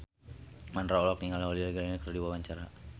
Mandra olohok ningali Holliday Grainger keur diwawancara